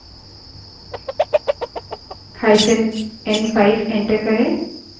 hyphen n5 enter करें